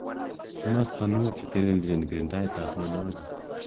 Kimostonwek cheteleljin kirindaet ab mnonwokik